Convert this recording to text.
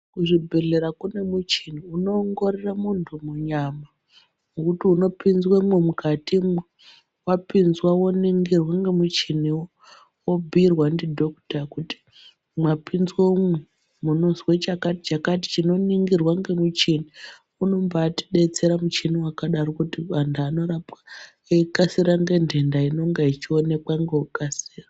Kuzvibhehlera kune muchini unowongorora muntu nyama. Zvekuti unopinzwemo mukati, wapinzwa woningirwa nemuchiniwo, wobhuyirwa ndidhokota kuti mwapinzwa umwu, munozwe chakati chakati chinoningirwa nemuchini. Unombatidetsera muchini wakadaro kuti antu anorapwa nekikasira nentenda inenge ichiwonekwa nekukasira.